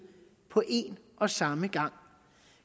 på en og samme gang